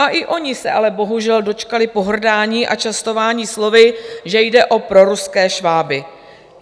A i oni se ale bohužel dočkali pohrdání a častování slovy, že jde o proruské šváby.